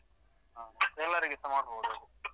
ಹ ಅದು ಎಲ್ಲರಿಗೆಸ ಮಾಡಬೋದು ಅದು.